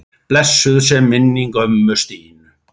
Blessuð sé minning ömmu Stínu.